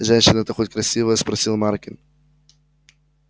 женщина-то хоть красивая спросил маркин